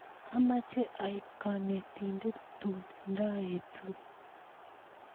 amache aek kanetindet tuun ndaetu